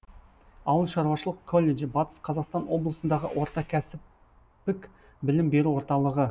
ауыл шаруашылық колледжі батыс қазақстан облысындағы орта кәсіптік білім беру орталығы